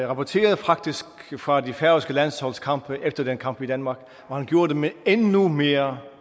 rapporterede fra det færøske landsholds kamp efter den kamp i danmark og han gjorde det med endnu mere